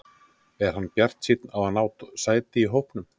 Er hann bjartsýnn á að ná sæti í hópnum?